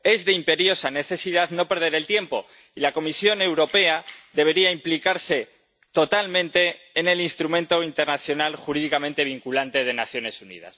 Es de imperiosa necesidad no perder el tiempo y la Comisión Europea debería implicarse totalmente en el instrumento internacional jurídicamente vinculante de las Naciones Unidas.